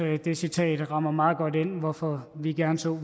det citat rammer meget godt ind hvorfor vi gerne så